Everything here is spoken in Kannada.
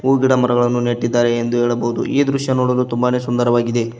ಹೂ ಗಿಡ ಮರಗಳನ್ನು ನೆಟ್ಟಿದ್ದಾರೆ ಎಂದು ಹೇಳಬಹುದು ಈ ದೃಶ್ಯ ನೋಡಲು ತುಂಬಾನೆ ಸುಂದರವಾಗಿದೆ.